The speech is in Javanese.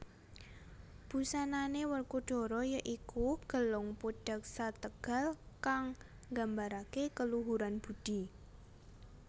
Busanane Werkudara ya iku Gelung Pudhaksategal kang nggambarake keluhuran budi